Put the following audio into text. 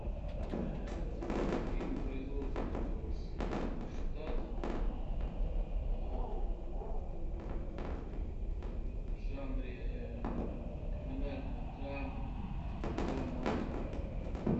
фильм производства соединенных штатов в жанре криминальная драма про мафию